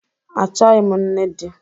Achọghị m nne di